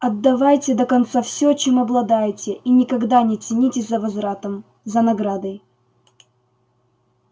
отдавайте до конца всё чем обладаете и никогда не тянитесь за возвратом за наградой